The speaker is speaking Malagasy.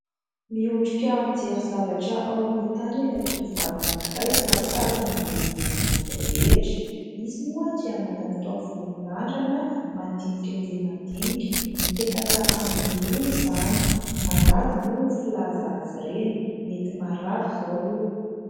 Miondrika mijery zavatra ao amin'ny tany ilay tovovavy anankiray ka tazana ny lohany rehetra, izy moa dia manana taovolo mirandrana madinika dia mandinika, mipetaka amin'ny loha izany, mandady moa no filazana azy ireny, mety marary izao io.